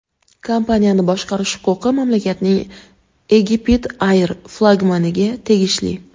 Kompaniyani boshqarish huquqi mamlakatning EgyptAir flagmaniga tegishli.